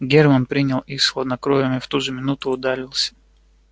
германн принял их с хладнокровием и в ту же минуту удалился